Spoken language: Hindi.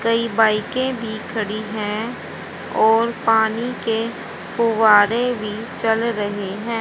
कई बाइके भी खड़ी है और पानी के फुव्वारे भी चल रहे हैं।